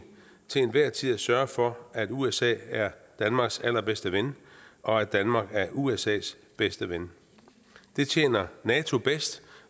til enhver tid at sørge for at usa er danmarks allerbedste ven og at danmark er usas bedste ven det tjener nato bedst